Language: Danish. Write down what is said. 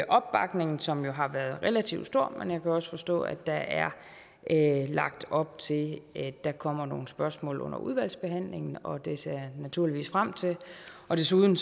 opbakningen som jo har været relativt stor men jeg kan også forstå at der er lagt op til at der kommer nogle spørgsmål under udvalgsbehandlingen og det ser jeg naturligvis frem til desuden